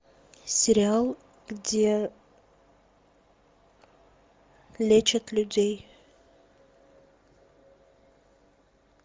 сериал где лечат людей